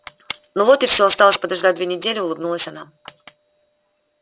ну вот и всё осталось подождать две недели улыбнулась она